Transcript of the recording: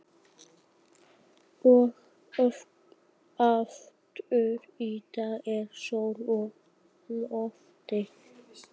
Og aftur í dag er sól á lofti.